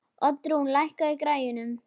Oddrún, lækkaðu í græjunum.